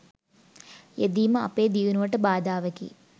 යෙදීම අපේ දියුණුවට බාධාවකි.